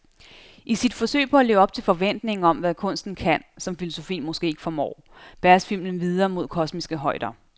I sit forsøg på at leve op til forventningen om, hvad kunsten kan, som filosofien måske ikke formår, bæres filmen videre mod kosmiske højder.